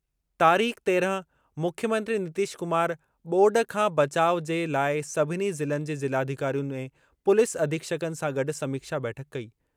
तारीख़ तेरहं मुख्यमंत्री नीतीश कुमार ॿोॾ खां बचाउ जे लाइ सभिनी ज़िलनि जे ज़िलाधिकारियुनि ऐं पुलिस अधीक्षकनि सां गॾु समीक्षा बैठक कई।